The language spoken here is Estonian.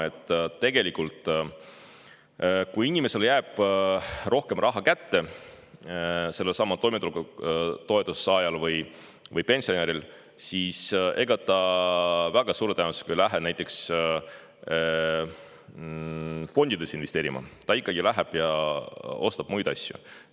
Aga peab aru saama, et kui inimesele jääb rohkem raha kätte, sellelsamal toimetulekutoetuse saajal või pensionäril, siis ega ta väga suure tõenäosusega ei lähe näiteks fondidesse investeerima, ta ikkagi läheb ja ostab muid asju.